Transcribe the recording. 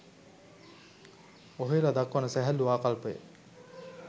ඔහෙලා දක්වන සැහැල්ලු ආකල්පය